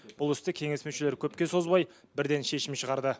бұл істі кеңес мүшелері көпке созбай бірден шешім шығарды